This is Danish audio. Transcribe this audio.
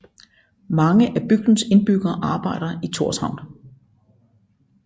Mange af bygdens indbyggere arbejder i Tórshavn